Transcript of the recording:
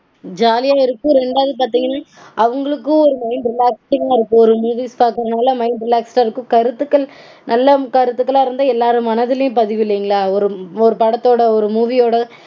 ஜாலியா இருக்கும் ரெண்டாவது பாத்தீங்கனா அவங்களுக்கும் ஒரு mind relaxing -ஆ இருக்கும் ஒரு movies பாக்கறதனால mind relax -ஆ இருக்கும். கருத்துக்கள் நல்ல கருத்துக்களா இருந்த எல்லார் மனதிலையும் பதியும் இல்லைங்களா? ஒரு படத்தோட ஒரு movie ஓட